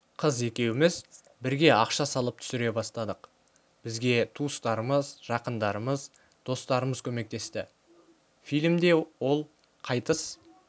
қыз екеуміз біге ақша салып түсіре бастадық бізге туыстарымыз жақындарымыз достарымыз көмектесті фильмде ол қайтыс